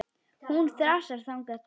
Hún þrasaði þangað til.